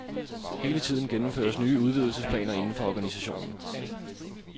Hele tiden gennemføres nye udvidelsesplaner indenfor organisationen.